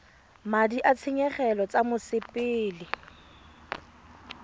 madi a ditshenyegelo tsa mosepele